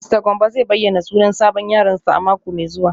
Mista Gambo zai bayyana sunan sabon yaronsa a mako mai zuwa